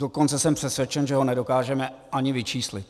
Dokonce jsem přesvědčen, že ho nedokážeme ani vyčíslit.